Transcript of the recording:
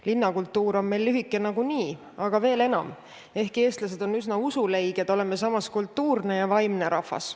Linnakultuur on meil lühike nagunii, aga veel enam: ehkki eestlased on üsna usuleiged, oleme samas kultuurne ja vaimne rahvas.